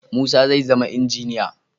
Musa zai zama injiniya.